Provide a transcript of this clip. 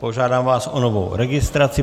Požádám vás o novou registraci.